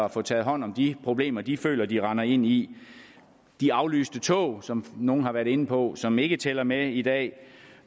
at få taget hånd om de problemer de føler de render ind i de aflyste tog som nogle har været inde på som ikke tæller med i dag